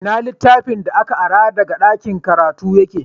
Ina littafin da ka ara daga ɗakin karatu yake?